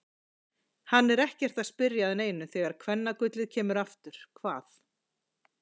Hann er ekkert að spyrja að neinu þegar kvennagullið kemur aftur, hvað.